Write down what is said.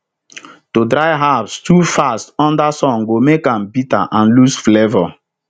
to dry herbs too fast under sun go make am bitter and lose flavour